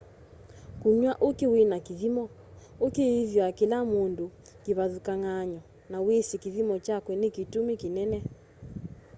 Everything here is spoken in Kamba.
kũnywa mbũkĩ wĩna kĩthĩmo mbũkĩ ĩthũa kĩla mũndũ kĩvathũkang'anyo na wĩsĩ kĩthĩmo chakũ nĩ kĩtũmĩ kĩnene